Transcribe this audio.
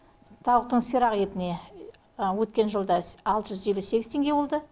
тауықтың сирақ етіне өткен жылда алты жүз елу сегіз теңге болды